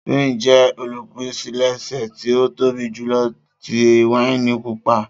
Spain jẹ olupilẹṣẹ ti o tobi julọ ti waini pupa.